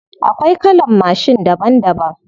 Akwai kalan mashin daban daban.